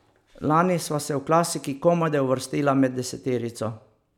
Lani sva se v klasiki komajda uvrstila med deseterico.